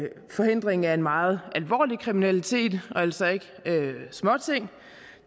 forhindring af en meget alvorlig kriminalitet og altså ikke småting